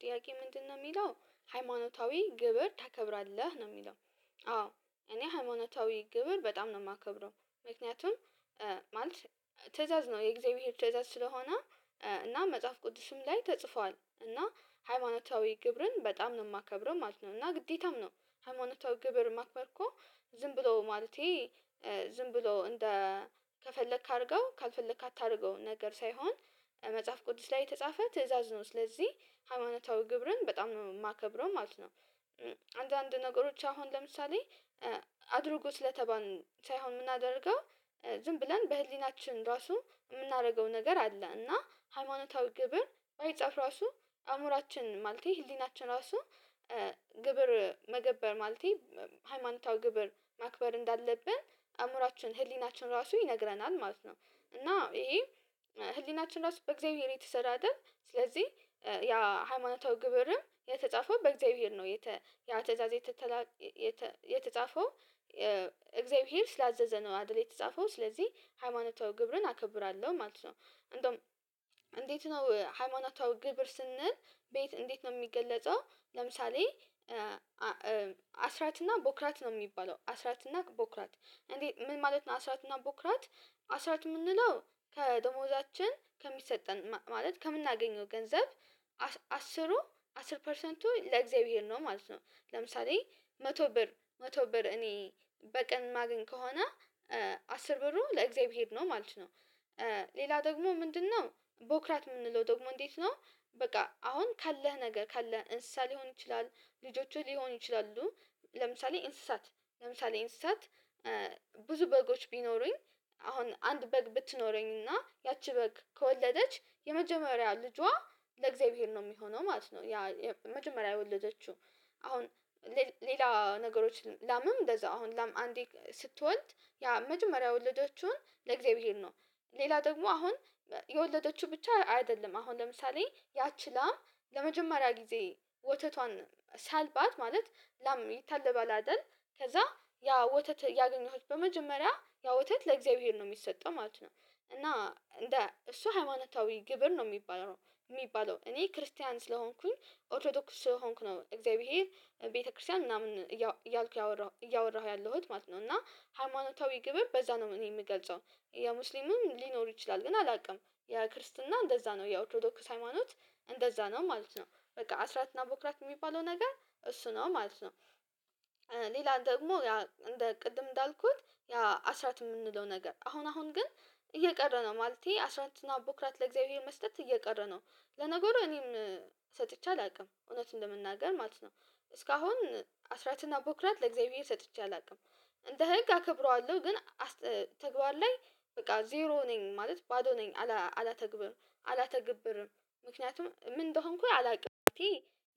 ጥያቄ ምንድነው የሚለው ሃይማኖታዊ ግብር ታከብራለህ ነው የሚለው? አዎ እኔ ሃይማኖታዊ ግብር በጣም ነው የማከብረው ምክንያቱም ማለት ትእዛዝ ነው የእግዚአብሔር ትእዛዝ ስለሆነ እና መጽሐፍ ቅዱስም ላይ ተጽፏል እና ሃይማኖታዊ ግብርን በጣም ነው የማከብረው ማለት ነው። እና ግዴታም ነው ሃይማኖታዊ ግብር ማክበር እኮ ዝም ብሎ ማለቴ ዝም ብሎ እንደ ከፈለክ አድርገው ካልፈለክ አታድርገው ነገር ሳይሆን መጽሐፍ ቅዱስ ላይ የተጻፈ ትእዛዝ ነው ስለዚህ ሃይማኖታዊ ግብርን በጣም ነው የማከብረው ማለት ነው። አንዳንድ ነገሮች አሁን ለምሳሌ አድርጎ ስለተባልን ሳይሆን የምናደርገው ዝም ብለን በህሊናችን ራሱ የምናደርገው ነገር አለ እና ሃይማኖታዊ ግብር ባይጻፍ ራሱ አእምሮአችን ማለቴ ህሊናችን ራሱ ግብር መገበር ማለቴ ሃይማኖታዊ ግብር ማክበር እንዳለብን አእምሮአችን ህሊናችን ራሱ ይነግረናል ማለት ነው። እና ይሄ ህሊናችን ራሱ በእግዚአብሔር የተሰራ አይደል ስለዚህ ያ ሃይማኖታዊ ግብርም የተጻፈው በእግዚአብሔር ነው። የተ ያ ትእዛዝ የተጻፈው እግዚአብሔር ስላዘዘ ነው አድል የተጻፈው ስለዚህ ሃይማኖታዊ ግብርን አከብራለሁ ማለት ነው። እንዴት ነው ሃይማኖታዊ ግብር ስንል ቤት እንዴት ነው የሚገለጸው ለምሳሌ አስራት እና ቦክራት ነው የሚባለው አስራትና ቦክራት እንዴ ምን ማለት ነው? አስራትና ቦክራት አስራት የምንለው ከደሞዛችን ከሚሰጠን ማለት ከምናገኘው ገንዘብ አስሩ አስር ፐርሰንቱ ለእግዚአብሔር ነው ማለት ነው። ለምሳሌ መቶ ብር መቶ ብር እኔ በቀን ማገኝ ከሆነ አስር ብሩ ለእግዚአብሔር ነው ማለት ነው። ሌላ ደግሞ ምንድነው ቦክራት የምንለው ደግሞ እንዴት ነው? በቃ አሁን ካለህ ነገር ካለህ እንስሳ ሊሆን ይችላል ልጆቹ ሊሆኑ ይችላሉ ለምሳሌ እንስሳት ለምሳሌ እንስሳት ብዙ በጎች ቢኖሩኝ አሁን አንድ በግ ብትኖረኝ እና ያቺ በግ ከወለደች የመጀመሪያ ልጇ ለእግዚአብሔር ነው የሚሆነው ማለት ነው። ያ መጀመሪያ የወለደችው አሁን ሌላ ነገሮች ላምም እንደዛ አሁን ላም አንዴ ስትወልድ ያ መጀመሪያ ወለደቹን ለእግዚአብሔር ነው። ሌላ ደግሞ አሁን የወለደችው ብቻ አይደለም አሁን ለምሳሌ ያቺ ላም ለመጀመሪያ ጊዜ ወተቷን ሳልባት ማለት ላም ይታለባል አይደል ከዛ ያ ወተት ያገኘሁት በመጀመሪያ ያ ወተት ለእግዚአብሔር ነው የሚሰጠው ማለት ነው። እና እንደ እሱ ሃይማኖታዊ ግብር ነው የሚባለው የሚባለው እኔ ክርስቲያን ስለሆንኩኝ ኦርቶዶክስ ስለሆንኩ ነው እግዚአብሔር ቤተክርስቲያን ምናምን እያልኩ ያወራሁ እያወራሁ ያለሁት ማለት ነው እና ሃይማኖታዊ ግብር በዛ ነው እኔ የምገልጸው የሙስሊምም ሊኖር ይችላል ግን አላውቅም የክርስትና እንደዛ ነው የአውቶዶክስ ሃይማኖት እንደዛ ነው ማለት ነው በቃ አስራትና ቦክራክት የሚባለው ነገር እሱ ነው ማለት ነው። ሌላ ደግሞ እንደ ቅድም እንዳልኩት ያ አስራት የምንለው ነገር አሁን አሁን ግን እየቀረ ነው ማለቴ አስራ አራት እና በኩራት ለእግዚአብሔር መስጠት እየቀረ ነው ለነገሩ እኔም ሰጥቼ አላውቅም እውነቱን ለመናገር ማለት ነው እስካሁን አስራትና አቦክራት ለእግዚአብሔር ሰጥቼ አላውቅም። እንደ ህግ አከብረዋለሁ ግን ተግባር ላይ በቃ ዜሮ ነኝ ማለት ባዶ ነኝ አላተግብም አላተግብርም ምክንያቱም ምን እንደሆንኩኝ አላውቅም እኔ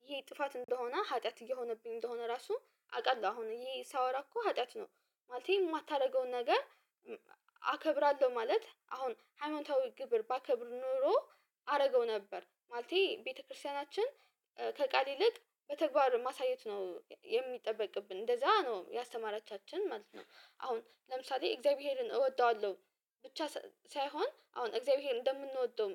ይሄ ጥፋት እንደሆነ ሀጢያት እየሆነብኝ እንደሆነ ራሱ አውቃለሁ አሁን እዬ ሳወራ እኮ ሀጢያት ነው ማለቴ የማታደርገውን ነገር አከብራለሁ ማለት አሁን ሃይማኖታዊ ግብር ባከብር ኖሮ አደረገው ነበር ማለቴ ቤተክርስቲያናችን ከቃል ይልቅ በተግባር ማሳየት ነው የሚጠበቅብን እንደዛ ነው ያስተማራቻችን ማለት ነው። አሁን ለምሳሌ እግዚአብሔርን እወጣዋለሁ ብቻ ሳይሆን አሁን እግዚአብሔር እንደምንወደው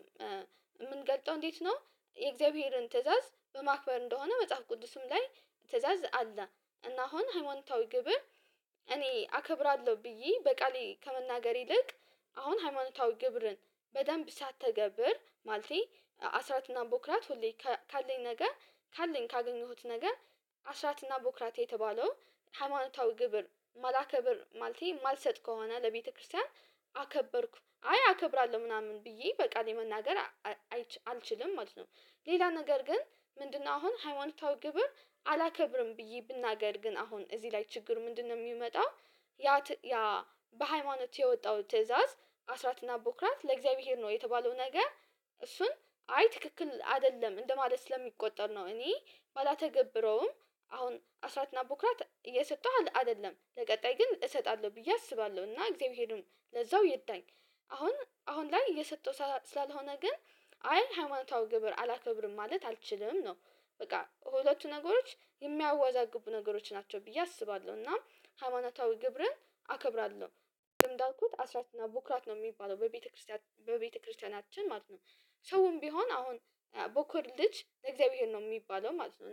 የምንገልጠው እንዴት ነው? የእግዚአብሔርን ትእዛዝ በማክበር እንደሆነ መጽሐፍ ቅዱስም ላይ ትእዛዝ አለ እና አሁን ሃይማኖታዊ ግብር እኔ አከብራለሁ ብዬ በቃሌ ከመናገር ይልቅ አሁን ሃይማኖታዊ ግብርን በደንብ ሳትገብር ማለቴ አስራትና ቦክራት ሁሌ ካለኝ ነገ ካለኝ ካገኘሁት ነገ አስራት እና ቦክራት የተባለው ሃይማኖታዊ ግብር ማላከብር ማልቴ ማልሰጥ ከሆነ ለቤተክርስቲያን አከበርኩ አይ አከብራለሁ ምናምን ብዬ በቃ የመናገር አልችልም ማለት ነው። ሌላ ነገር ግን ምንድነው አሁን ሃይማኖታዊ ግብር አላከብርም ብዬ ብናገር ግን አሁን እዚህ ላይ ችግሩ ምንድነው? የሚመጣ ያ በሃይማኖት የወጣው ትእዛዝ አስራትና ቦክራት ለእግዚአብሔር ነው የተባለው ነገር እሱን አይ ትክክል አይደለም እንደማለት ስለሚቆጠር ነው እኔ ባላተገብረውም አሁን አስራትና ቡክራት እየሰጠሁ አይደለም ለቀጣይ ግን እሰጣለሁ ብዬ አስባለሁ እና እግዚአብሔርም ለዛው ይርዳኝ አሁን አሁን ላይ እየሰጠሁ ስላልሆነ ግን አይ ሃይማኖታዊ ግብር አላከብርም ማለት አልችልም ነው። በቃ ሁለቱ ነገሮች የሚያዋዛግቡ ነገሮች ናቸው ብዬ አስባለሁ እና ሃይማኖታዊ ግብርን አከብራለሁ ግብር እንዳልኩት አስራት እና ቡክራት ነው የሚባለው በቤተክርስቲያን በቤተክርስቲያናችን ማለት ነው። ሰውም ቢሆን አሁን በኩር ልጅ የእግዚአብሔር ነው የሚባለው ማለት ነው